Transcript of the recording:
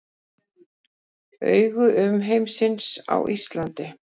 Augu umheimsins á Íslandi